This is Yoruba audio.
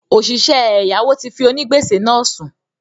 “Òsìsẹ́ ẹ̀yáwó” ti fi “ onígbèsè ” náà sùn